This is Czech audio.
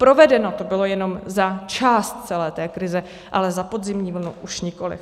Provedeno to bylo jenom za část celé té krize, ale za podzimní vlnu už nikoliv.